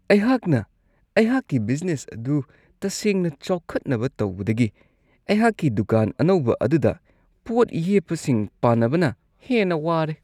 ꯑꯩꯍꯥꯛꯅ ꯑꯩꯍꯥꯛꯀꯤ ꯕꯤꯖꯅꯦꯁ ꯑꯗꯨ ꯇꯁꯦꯡꯅ ꯆꯥꯎꯈꯠꯅꯕ ꯇꯧꯕꯗꯒꯤ ꯑꯩꯍꯥꯛꯀꯤ ꯗꯨꯀꯥꯟ ꯑꯅꯧꯕ ꯑꯗꯨꯗ ꯄꯣꯠ ꯌꯦꯞꯄꯁꯤꯡ ꯄꯥꯟꯅꯕꯅ ꯍꯦꯟꯅ ꯋꯥꯔꯦ ꯫